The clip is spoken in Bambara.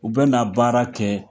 U bɛna na baara kɛ